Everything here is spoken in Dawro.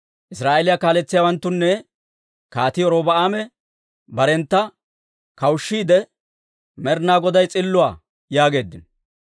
Israa'eeliyaa kaaletsiyaawantunne Kaatii Robi'aame barentta kawushshiide, «Med'inaa Goday s'illuwaa» yaageeddino.